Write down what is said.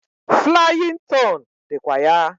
Flaying ton dikwa ya.